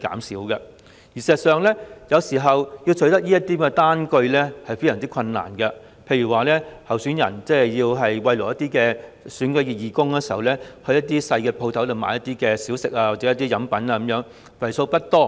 事實上，有時候要取得這些單據也非常困難，例如當候選人要慰勞選舉義工時，會在小商店購買小食或飲品，金額不大。